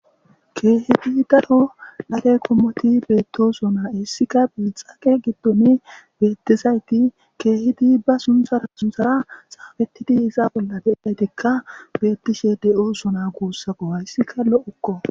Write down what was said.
keehidi daro dhale qommoti beettosona issika biixake giddon beettizayti keehidi ba sunthara sunthara xaafettidi isa bolla be7idaytikka beettishe de7osona guussako hayssika lo7okko.